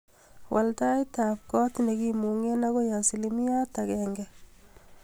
Wal taitab kot nekimungee akoi asilimiait agenge